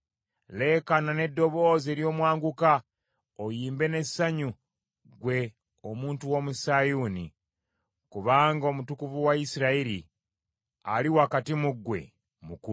Leekaana n’eddoboozi ery’omwanguka oyimbe n’essanyu ggwe omuntu w’omu Sayuuni, kubanga Omutukuvu wa Isirayiri ali wakati mu ggwe mukulu.”